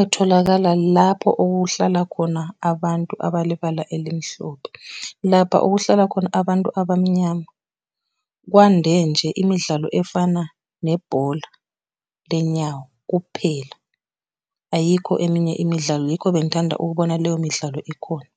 etholakala lapho okuhlala khona abantu abalibala elimhlophe. Lapha okuhlala khona abantu abamnyama, kwande nje imidlalo efana nebhola ley'nyawo kuphela, ayikho eminye imidlalo yikho bengithanda ukubona leyo midlalo ikhona.